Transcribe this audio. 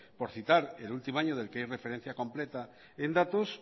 por citar el último año del que hay referencia completa en datos